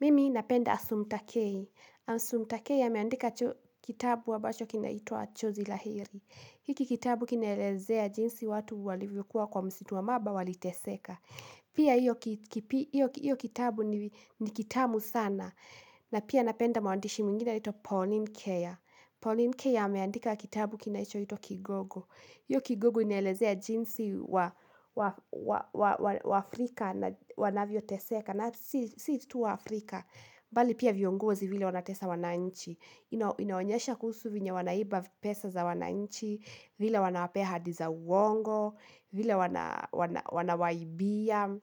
Mimi napenda Asumtakei. Asumtakei ameandika kitabu ambacho kinaitwa Chozi la heri. Hiki kitabu kinaelezea jinsi watu walivyokuwa kwa msitu wa mamba waliteseka. Pia, hiyo kitabu ni kitamu sana. Na pia napenda mwaandishi mwingine anaitwa Pauline Kea. Pauline Kea ameandika kitabu kinachoitwa Kigogo. Iyo kigogo inaelezea jinsi Waafrika wanavyoteseka na si tu Waafrika. Bali pia viongozi vile wanatesa wananchi. Inaonyesha kuhusu venye wanaiba pesa za wananchi. Vile wanawapea ahadi za uongo. Vile wanawaibia.